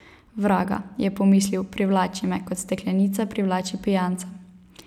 Vraga, je pomislil, privlači me, kot steklenica privlači pijanca.